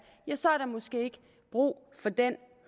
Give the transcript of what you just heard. ja så er der måske ikke brug for den